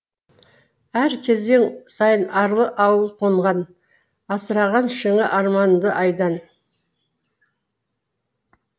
әр кезең сайын арлы ауыл қонған асыраған шыңы арманыңды айдан